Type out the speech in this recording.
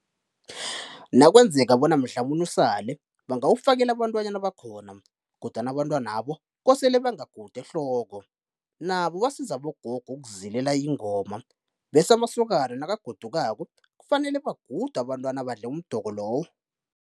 Nakwenzeka bona mhlamunye usale, bangawufakela abantwanyana abakhona kodwana abantwanabo kosele bangagudi ehloko nabo basiza abogogo ukuzilela ingoma bese amasokana nakagodukako, kufanele bagudwe abantwana abadle umdoko lowo.